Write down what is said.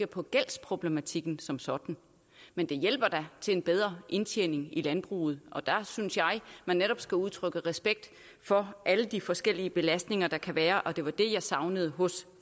på gældsproblematikken som sådan men det hjælper da til en bedre indtjening i landbruget og der synes jeg man netop skal udtrykke respekt for alle de forskellige belastninger der kan være og det var det jeg savnede hos